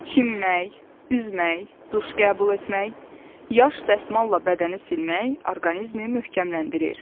Çimmək, üzmək, duş qəbul etmək, yaş dəsmalla bədəni silmək orqanizmi möhkəmləndirir.